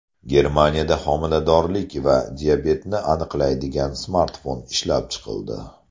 Germaniyada homiladorlik va diabetni aniqlaydigan smartfon ishlab chiqildi.